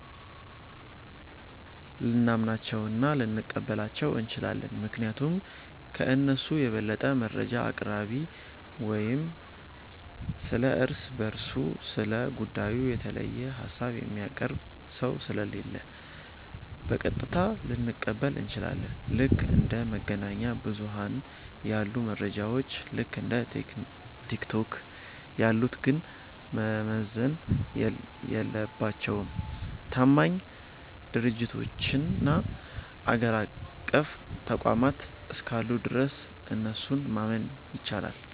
ልናምናቸውና ልንቀበላቸው እንችላለን። ምክንያቱም ከእነሱ የበለጠ መረጃ አቅራቢ ወይም ስለ እርስ በርሱ ስለ ጉዳዩ የተለየ ሃሳብ የሚያቀርብ ሰው ስለሌለ፣ በቀጥታ ልንቀበል እንችላለን። ልክ እንደ መገናኛ ብዙኃን ያሉ መረጃዎች፣ ልክ እንደ ቲክቶክ ያሉት ግን መመዘን የለባቸውም። ታማኝ ድርጅቶችና አገር አቀፍ ተቋማት እስካሉ ድረስ እነሱን ማመን ይቻላል።